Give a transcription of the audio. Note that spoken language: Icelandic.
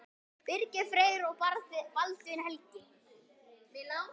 Birgir Freyr og Baldvin Helgi.